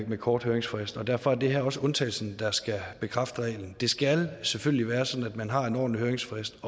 med kort høringsfrist og derfor er det her også undtagelsen der skal bekræfte reglen det skal selvfølgelig være sådan at man har en ordentlig høringsfrist